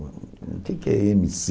O que é que é ême ci?